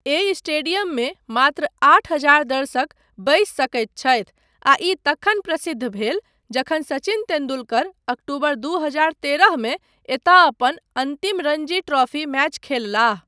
एहि स्टेडियममे मात्र आठ हजार दर्शक बैसि सकैत छथि आ ई तखन प्रसिद्ध भेल जखन सचिन तेन्दुलकर अक्टूबर दू हजार तेरहमे एतय अपन अन्तिम रणजी ट्रॉफी मैच खेललाह।